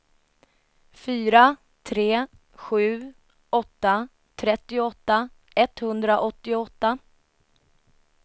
fyra tre sju åtta trettioåtta etthundraåttioåtta